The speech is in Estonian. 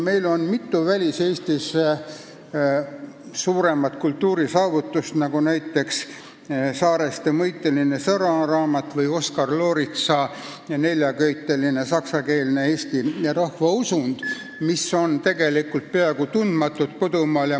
Meil on mitu väliseestlaste suurt kultuurisaavutust, nagu näiteks Saareste eesti keele mõisteline sõnaraamat ja Oskar Looritsa neljaköiteline saksakeelne teos Eesti rahvausundist, mis on kodumaal tegelikult peaaegu tundmatud.